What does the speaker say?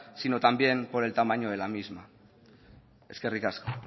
sino también por el tamaño de la misma eskerrik asko